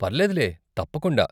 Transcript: పర్లేదులే తప్పకుండా.